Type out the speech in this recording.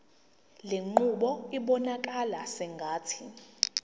lenqubo ibonakala sengathi